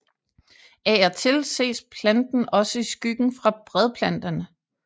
Af og til ses planten også i skyggen fra bredplanterne